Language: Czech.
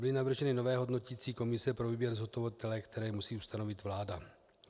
Byly navrženy nové hodnoticí komise pro výběr zhotovitele, které musí ustanovit vláda.